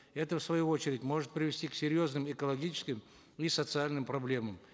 это в свою очередь может привести к серьезным экологическим и социальным проблемам